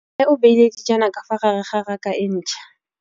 Mmê o beile dijana ka fa gare ga raka e ntšha.